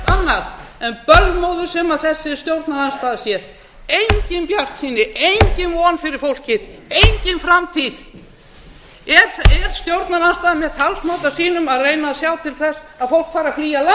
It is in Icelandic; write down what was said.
annað en bölmóður sem þessi stjórnarandstaða sér engin bjartsýni engin von fyrir fólkið engin framtíð er stjórnarandstaðan með talsmáta sínum að reyna að sjá til þess að fólk fari að flýja